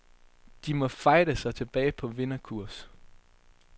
De må fighte sig tilbage på vinderkurs.